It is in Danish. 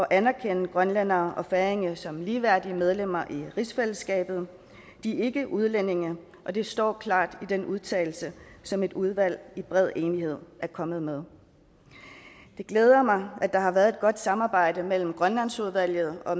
anerkende grønlændere og færinger som ligeværdige medlemmer i rigsfællesskabet de er ikke udlændinge og det står klart i den udtalelse som et udvalg i bred enighed er kommet med det glæder mig at der har været et godt samarbejde mellem grønlandsudvalget og